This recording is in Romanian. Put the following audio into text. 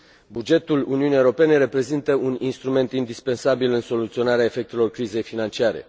Bugetul Uniunii Europene reprezintă un instrument indispensabil în soluționarea efectelor crizei financiare.